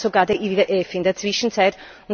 Das sagt uns sogar der IWF in der Zwischenzeit.